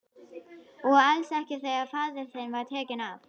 Og alls ekki þegar faðir þinn var tekinn af.